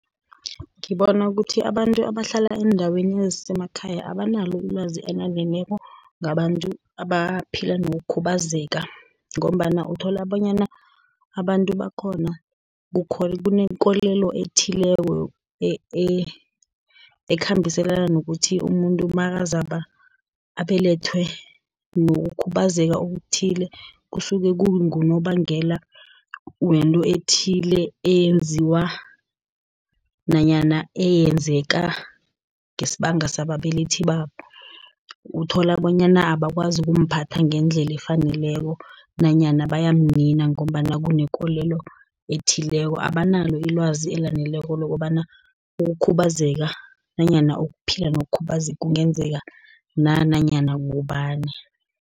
Ngibona ukuthi abantu abahlala eendaweni ezisemakhaya, abanalo ilwazi elaneleko ngabantu abaphila nokukhubazeka, ngombana uthola bonyana abantu bakhona kunekolelo ethileko ekhambiselana nokuthi umuntu nakazabe abelethwe nokukhubazeka okuthile, kusuke kungunobangela wento ethile eyenziwa nanyana eyenzeka ngesibanga sababelethi babo. Uthola bonyana abakwazi ukumphatha ngendlela efaneleko, nanyana bayamnina ngombana kunekolelo ethileko, abanalo ilwazi elaneleko lokobana ukukhubazeka, nanyana ukuphila nokukhubazeka kungenzeka na, nanyana ngubani.